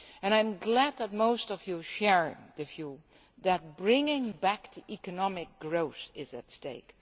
I am glad that most of you share the view that bringing back economic growth is at stake.